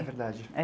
É verdade.